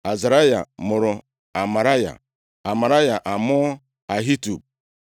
Azaraya mụrụ Amaraya, Amaraya amụọ Ahitub.